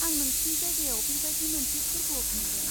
आं नोंसिनि जायगायाव बेबादि मोनसे फोरबोआव थांगोन।